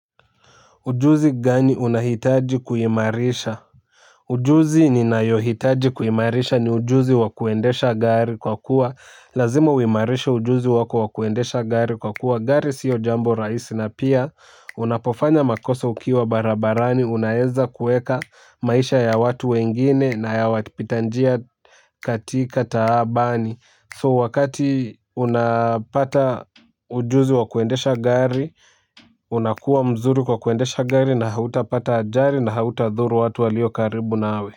Ujuzi gani unahitaji kuimarisha, ujuzi ninayohitaji kuimarisha ni ujuzi wa kuendesha gari kwa kuwa lazima uimarishe ujuzi wako wa kuendesha gari kwa kuwa gari siyo jambo rahisi na piya. Unapofanya makosa ukiwa barabarani unaeza kuweka maisha ya watu wengine na ya wapita njia katika taabani so unapata ujuzi wa kuendesha gari. Unakua mzuri kwa kuendesha gari na hautapata ajali na hautadhuru watu walio karibu nawe.